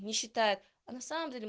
не считает а на самом деле